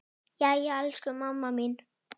Jæja, elsku mamma mín.